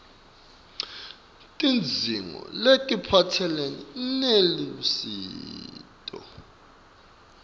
tidzingo letiphatselene nelusito